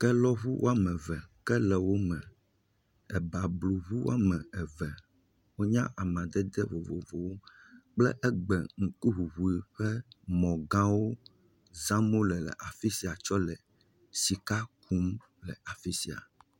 kelɔʋu wɔmeve ebabluʋu wɔameve wonye amadede vovovowo kple egbe ŋkuʋuʋu ƒe mɔ gãwo zam wóle kɔle sika kum le afisia